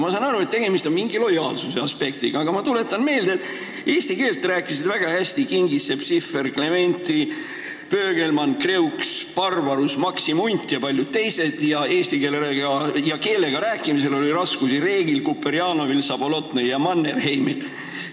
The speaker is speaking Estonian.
Ma saan aru, et tegemist on mingi lojaalsuse aspektiga, aga ma tuletan meelde, et eesti keelt rääkisid väga hästi Kingissepp, Sihver, Klementi, Pöögelmann, Kreuks, Barbarus, Maksim Unt ja paljud teised, aga eesti keeles rääkimisel oli raskusi Reegil, Kuperjanovil, Sabolotnõil ja Mannerheimil.